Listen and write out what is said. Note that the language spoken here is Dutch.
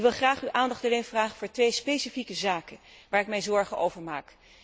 Ik wil graag uw aandacht vragen voor twee specifieke zaken waar ik mij zorgen over maak.